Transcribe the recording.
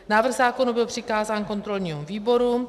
Návrh zákona byl přikázán kontrolnímu výboru.